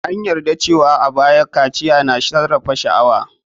An yarda cewa a baya, kaciya na sarrafa sha'awa.